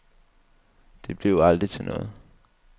Det blev aldrig til noget.